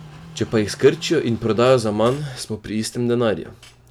Če pa jih skrčijo in prodajo za manj, smo pri istem denarju.